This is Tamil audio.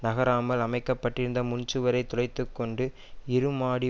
நகராமல் அமைக்கப்பட்டிருந்து முன்சுவரை துளைத்துக்கொண்டு இரு மாடி